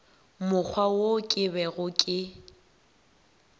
mokgwa wo ke bego ke